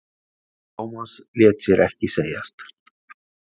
Thomas lét sér ekki segjast.